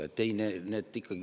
Ei, nii see ikkagi.